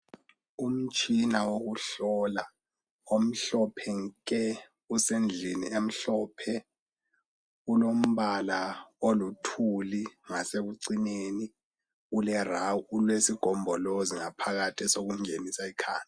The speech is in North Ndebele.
Umtshina wokuhlola omhlophe nke usendlini emhlophe. Ulombala oluthuli, ngasekucineni ulesigombolozi ngaphakathi esokungenisa ikhanda.